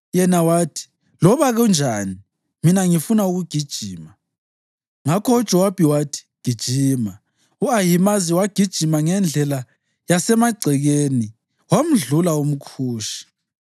Yena wathi, “Loba kunjani, mina ngifuna ukugijima.” Ngakho uJowabi wathi, “Gijima!” U-Ahimazi wagijima ngendlela yasemagcekeni, wamdlula umKhushi.